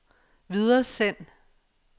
videresend